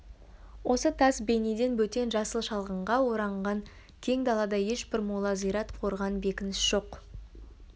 осы тас бейнеден бөтен жасыл шалғынға оранған кең далада ешбір мола зират қорған бекініс жоқ